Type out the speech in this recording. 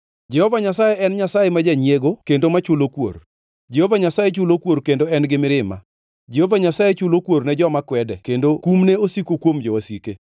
Jehova Nyasaye en Nyasaye ma janyiego kendo machulo kuor. Jehova Nyasaye chulo kuor kendo en gi mirima. Jehova Nyasaye chulo kuor ne joma kwede kendo kumne osiko kuom jowasike.